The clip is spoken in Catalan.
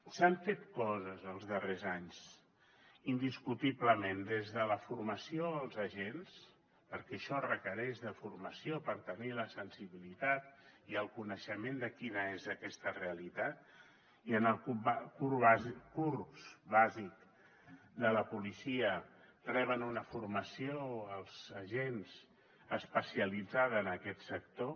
s’han fet coses els darrers anys indiscutiblement des de la formació als agents perquè això requereix formació per tenir la sensibilitat i el coneixement de quina és aquesta realitat i en el curs bàsic de la policia reben una formació els agents especialitzada en aquest sector